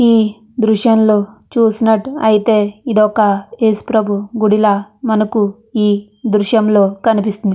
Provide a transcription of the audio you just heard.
ఈ దృశ్యంలో చూసినట్ అయితే ఇదొక యేసుప్రభు గుడిలా మనకు ఈ దృశ్యంలో కనిపిస్తుంది --